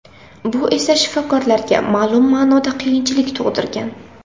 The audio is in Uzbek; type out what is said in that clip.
Bu esa shifokorlarga ma’lum ma’noda qiyinchilik tug‘dirgan.